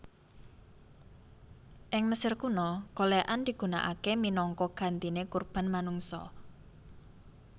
Ing Mesir Kuno golèkan digunakaé minangka gantiné kurban manungsa